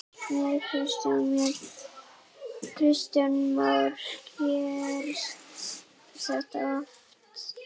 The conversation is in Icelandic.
Kristján Már: Gerist þetta oft?